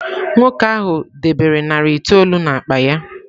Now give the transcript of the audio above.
Nwoke ahụ debere narị itoolu n’akpa ya.